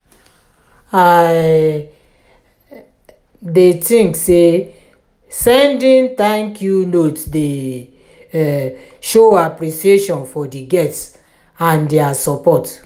i um dey think say sending thank-you notes dey um show appreciation for di guests and dia support.